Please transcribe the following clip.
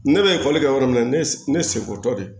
Ne bɛ ekɔli kɛ yɔrɔ min na ne seko tɛ